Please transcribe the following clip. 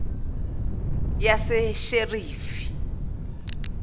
yasesherifi